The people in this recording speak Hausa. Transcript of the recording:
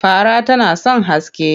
Fara tana son haske.